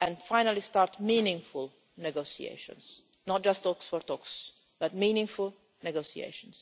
and finally start meaningful negotiations not just talks for the sake of talks, but meaningful negotiations.